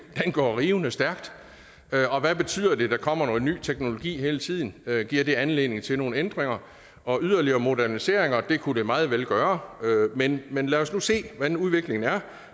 den går rivende stærkt og hvad betyder det der kommer ny teknologi hele tiden giver det anledning til nogle ændringer og yderligere moderniseringer det kunne det meget vel gøre men men lad os se hvordan udviklingen er